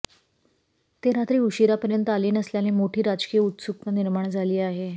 ते रात्री उशिरापर्यंत आले नसल्याने मोठी राजकीय उत्सुकता निर्माण झाली आहे